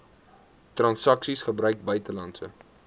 transaksies gebruik buitelandse